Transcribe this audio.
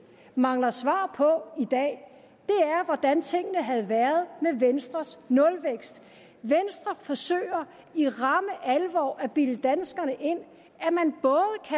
mangler svar på i dag er hvordan tingene havde været med venstres nulvækst venstre forsøger i ramme alvor at bilde danskerne ind